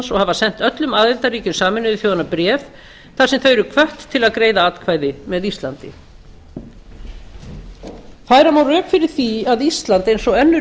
hafa sent öllum aðildarríkjum sameinuðu þjóðanna bréf þar sem þau eru hvött til að greiða atkvæði með íslandi færa má rök fyrir því að ísland eins og önnur